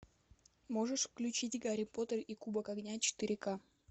можешь включить гарри поттер и кубок огня четыре ка